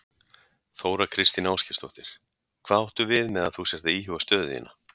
Þóra Kristín Ásgeirsdóttir: Hvað áttu við með að þú sért að íhuga stöðu þína?